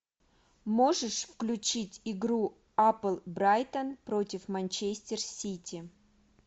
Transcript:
можешь включить игру апл брайтон против манчестер сити